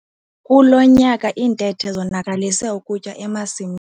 Kulo nyaka iintethe zonakalise ukutya emasimini.